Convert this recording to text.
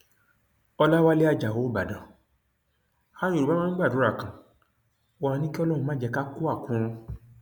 ọlàwálẹ ajáò ìbàdàn àwọn yorùbá máa ń gbàdúrà kan wọn àá ní kí ọlọrun má jẹ ká kú àkúrun